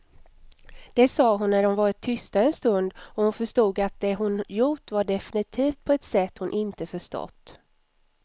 Det sa hon när de varit tysta en stund och hon förstod att det hon gjort var definitivt på ett sätt hon inte förstått.